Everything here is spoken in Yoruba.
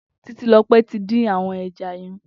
Titilope ti din awọn ẹ̀já yèn